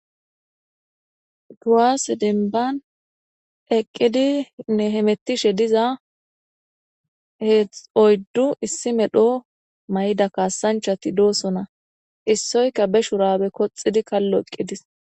Kuwasse denban eqidinne hemetishshe diza oyddu issi medhdho mayo mayidi kasanchchat dossona issyokka ba shurabe koxid kalo eqidess